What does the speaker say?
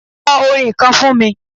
Kọ orin kan fún mi.